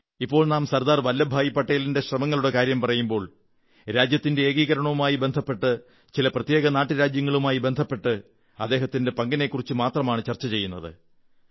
ഇപ്പോൾ നാം സർദാർ വല്ലഭഭായി പട്ടേലിന്റെ ശ്രമങ്ങളുടെ കാര്യം പറയുമ്പോൾ രാജ്യത്തിന്റെ ഏകീകരണവുമായി ബന്ധപ്പെട്ട് ചില പ്രത്യേക നാട്ടുരാജ്യങ്ങളുമായി ബന്ധപ്പെട്ട് അദ്ദേഹത്തിന്റെ പങ്കിനെക്കുറിച്ചു മാത്രമാണ് ചർച്ച ചെയ്യുന്നത്